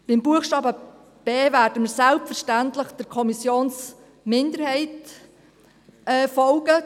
Bei Buchstabe b werden wir selbstverständlich der Kommissionsminderheit folgen.